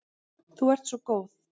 Þú ert svo góð.